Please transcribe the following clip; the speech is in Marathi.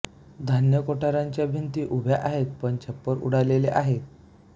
धान्य कोठारांच्या भिंति उभ्या आहेत पण छप्पर उडालेले आहे